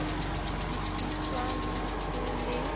lefiswang le ha ho le